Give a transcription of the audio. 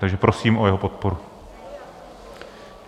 Takže prosím o jeho podporu.